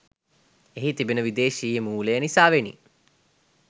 එහි තිබෙන විදේශිය මූලය නිසාවෙනි.